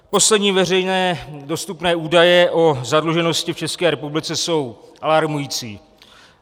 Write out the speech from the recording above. Poslední veřejné dostupné údaje o zadluženosti v České republice jsou alarmující.